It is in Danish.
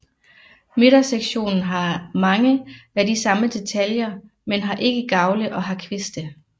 Midtersektionen har mange af de samme detaljer men har ikke gavle og har kviste